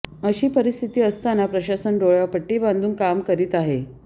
अशी परिस्थिती असतांना प्रशासन डोळ्यावर पट्टी बांधून काम करीत आहे